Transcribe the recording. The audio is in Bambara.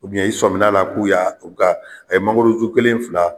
i sɔmin'a la k'u y'a u ka mangoro ju kelen ,fila